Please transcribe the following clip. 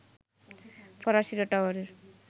ফরাসিরা টাওয়ারের